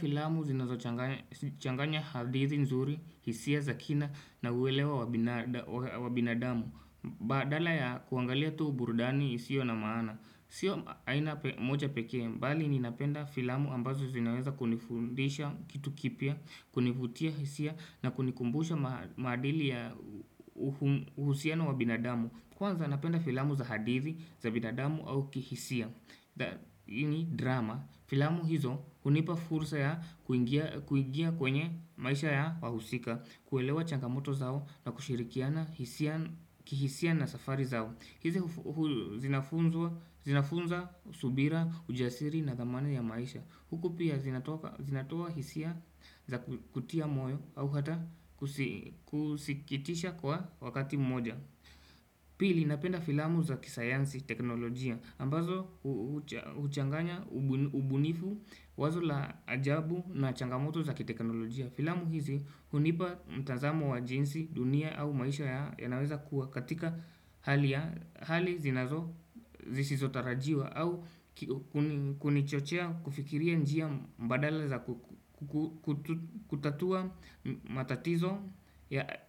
Filamu zinazochanganya hadithi nzuri, hisia, za kina na uelewa wa binadamu. Badala ya kuangalia tu burudani isio na maana. Sio aina moja pekee, mbali ninapenda filamu ambazo zinaweza kunifundisha kitu kipya, kunifutia hisia, na kunikumbusha maadili ya uhusiano wa binadamu. Kwanza napenda filamu za hadithi, za binadamu au kihisia. Hii ni drama, filamu hizo hunipa fursa ya kuingia kwenye maisha ya wahusika, kuelewa changamoto zao na kushirikiana kihisia na safari zao. Hizi zinafunza subira, ujasiri na thamani ya maisha. Huku pia zinatoa hisia za kutia moyo au hata kusikitisha kwa wakati moja. Pili napenda filamu za kisayansi teknolojia ambazo huchanganya ubunifu, wazo la ajabu na changamoto za kiteknolojia. Filamu hizi hunipa mtazamo wa jinsi dunia au maisha yanaweza kuwa katika hali zinazo zisizotarajiwa au kunichochea kufikiria njia mbadala za kutatua matatizo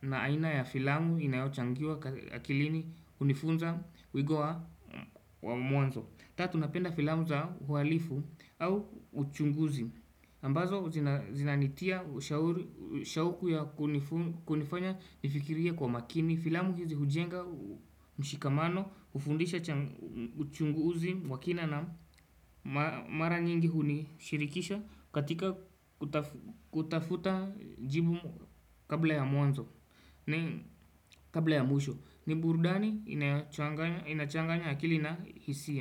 na aina ya filamu inayochangiwa akilini hunifunza wigo wa mwanzo Tatu, napenda filamu za uhalifu au uchunguzi ambazo zinanitia shauku ya kunifanya nifikirie kwa makini. Filamu hizi hujenga mshikamano hufundisha uchunguzi wa kina na mara nyingi hunishirikisha katika kutafuta jibu kabla ya mwanzo, kabla ya mwisho ni burudani inayochanganya akili na hisia.